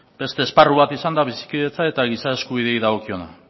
beste esparru bat izan da bizikidetza eta giza eskubideei dagokiona